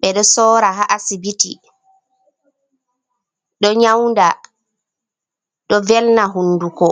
ɓe ɗo soora ha asibiti. Ɗo nyawnda, ɗo velna hunduko.